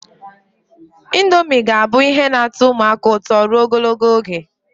Indomie ga-abụ ihe na-atọ ụmụaka ụtọ ruo ogologo oge.